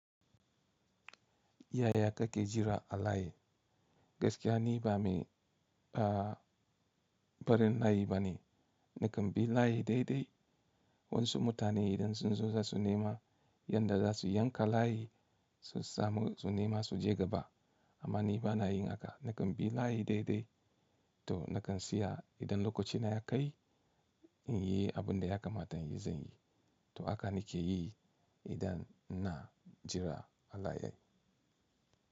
Yaya kake jira a layi? Gaskiya ni ba mai, ba barin layi bane. Nakan bi layi daidai. Wasu mutane idan sun zo za su nema yanda za su yanka layi su samu, su nema suje gaba amma ni ba na yin haka. Nakan bi layi daidai to nakan siya idan lokaci na ya kai in yi abin da ya kamata in yi zan yi. To haka nake yi idan ina jira a layi.